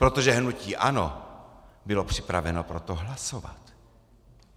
Protože hnutí ANO bylo připraveno pro to hlasovat.